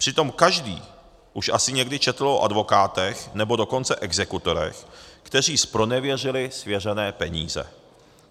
Přitom každý už asi někdy četl o advokátech, nebo dokonce exekutorech, kteří zpronevěřili svěřené peníze.